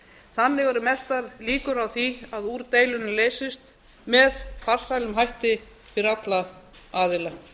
þannig eru mestar líkur á því að úr deilunni leysist með farsælum hætti fyrir alla aðila